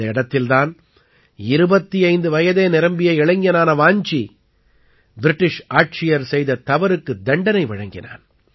இந்த இடத்தில் தான் 25 வயதே நிரம்பிய இளைஞனான வாஞ்சி பிரிட்டிஷ் ஆட்சியர் செய்த தவறுக்குத் தண்டனை வழங்கினான்